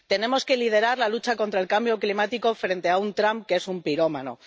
Tenemos que liderar la lucha contra el cambio climático frente a un Trump que es un pirómano.